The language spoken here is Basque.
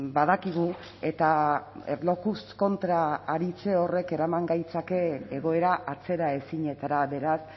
badakigu eta erlojuz kontra aritze horrek eraman gaitzake egoera atzeraezinetara beraz